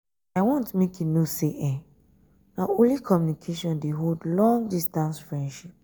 i want make you know sey na only communication dey hold long-distance friendship.